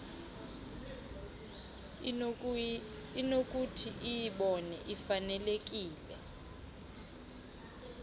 inokuthi iyibone ifanelekile